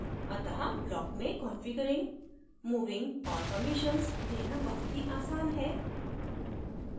अत: block में configuring moving और permissions देना बहुत ही आसान है